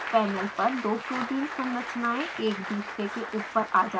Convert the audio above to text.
panel पर दो protein संरचनायें एक दुसरे के ऊपर आ जाती हैं